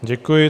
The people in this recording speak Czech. Děkuji.